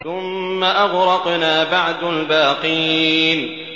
ثُمَّ أَغْرَقْنَا بَعْدُ الْبَاقِينَ